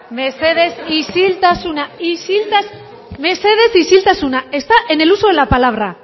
isiltasuna mesedez mesedez isiltasuna está en el uso de la palabra